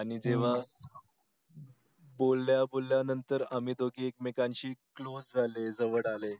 आणि तेव्हा बोलल्या बोलल्या नंतर आम्ही एक मकान शी closed झालो जवळ आले